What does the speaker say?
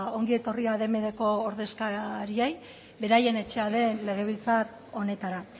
ongi etorri ordezkariei beraien etxea den legebiltzar honetara